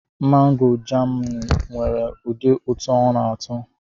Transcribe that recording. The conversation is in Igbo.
Mangoo Jamaanụ nwere ụdị ụtọ ọ na-atọ.